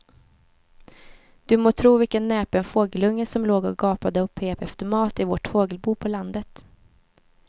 Du må tro vilken näpen fågelunge som låg och gapade och pep efter mat i vårt fågelbo på landet.